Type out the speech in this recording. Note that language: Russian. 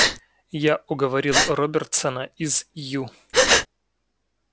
я уговорил робертсона из ю